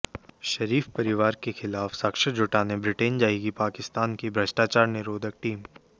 शरीफ परिवार के खिलाफ साक्ष्य जुटाने ब्रिटेन जाएगी पाकिस्तान की भ्रष्टाचार निरोधक टीम